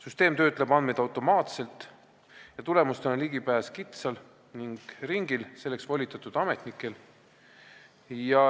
Süsteem töötleb andmeid automaatselt ja tulemustele on ligipääs kitsal ringil, selleks volitatud ametnikel.